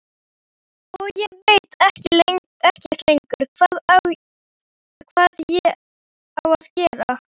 Og ég veit ekkert lengur hvað ég á að segja.